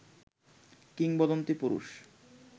কিংবদন্তি পুরুষ